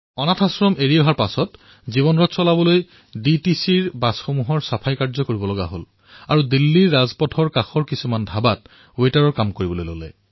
অনাথালয় এৰাৰ পিছত জীৱনৰ গাড়ী আগুৱাই নিবলৈ তেওঁ ডিটিচিৰ বাছসমূহ পৰিষ্কাৰ কৰিবলৈ আৰু দিল্লীৰ ৰাস্তাৰ কাষৰ ধাবাসমূহত ৱেটাৰৰ কাম কৰিবলৈ আৰম্ভ কৰিলে